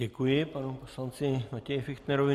Děkuji panu poslanci Matěji Fichtnerovi.